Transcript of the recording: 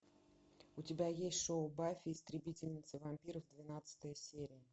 у тебя есть шоу баффи истребительница вампиров двенадцатая серия